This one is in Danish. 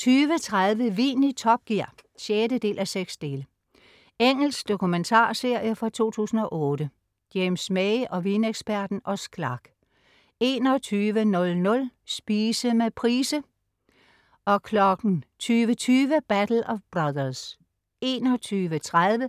20.30 Vin i top gear 6:6. Engelsk dokumentarserie fra 2008. James May og vineksperten Oz Clarke 21.00 Spise med Price. 20:20 "Battle of Brothers" 21.30